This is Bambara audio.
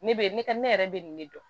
Ne be ne ka ne yɛrɛ be nin ne dɔn